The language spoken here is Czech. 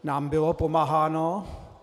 Nám bylo pomáháno.